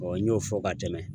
n y'o fɔ ka tɛmɛn.